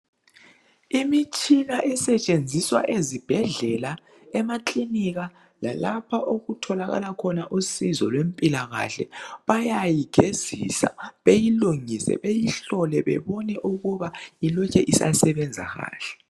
Imitshina esetshenziswa ezibhedlela, emakilinika lalapha okutholakala khona usizo lwempilakahle bayayigezisa , beyilungise, beyihlole bebona ukuba ilokhe isasebenza kahle.